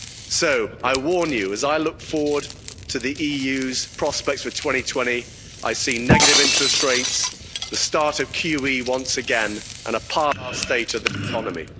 much. So I warn you as I look forward to the EU's prospects for 2020, I see negative interest rates, the start of QE once again and a state of the economy.